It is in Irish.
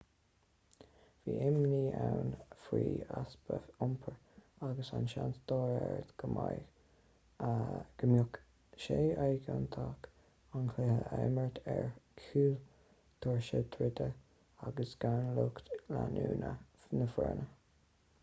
bhí imní ann faoi easpa iompair agus an seans dá réir go mbeadh sé éigeantach an cluiche a imirt ar chúl doirse druidte agus gan lucht leanúna na foirne